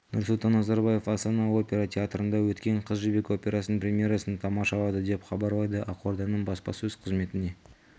нұрсұлтан назарбаев астана опера театрында өткен қыз жібек операсының премьерасын тамашалады деп хабарлайды ақорданың баспасөз қызметіне